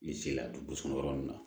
Ni se la dugusɔ yɔrɔ min na